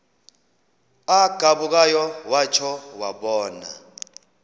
agabukayo watsho wabona